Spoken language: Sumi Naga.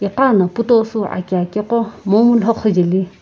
no piitoshii aki ake quo momii loquo jaeli.